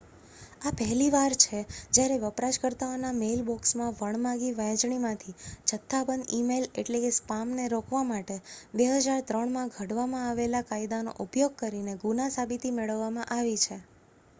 આ પહેલી વાર છે જ્યારે વપરાશકર્તાઓના મેઇલબોક્સમાં વણમાગી વહેંચણીમાંથી જથ્થાબંધ ઇ-મેઇલ એટલ કે સ્પામને રોકવા માટે 2003માં ઘડવામાં આવેલા કાયદાનો ઉપયોગ કરીને ગુના-સાબિતી મેળવવામાં આવી છે